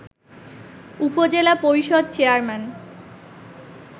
উপজেলা পরিষদ চেয়ারম্যান